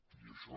i això